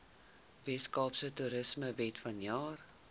weskaapse toerismewet vanjaar